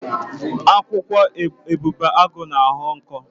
Akwụkwọ ebubeagụ na-aghọ ọkụ.